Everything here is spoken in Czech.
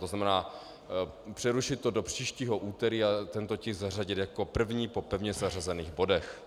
To znamená, přerušit to do příštího úterý a tento tisk zařadit jako první po pevně zařazených bodech.